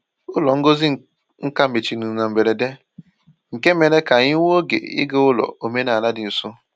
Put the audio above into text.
Ụlọ ngosi nka mechiri na mberede, nke mere ka anyị nwee oge ịga ụlọ omenala dị nso.